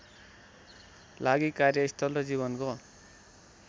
लागि कार्यस्थल र जीवनको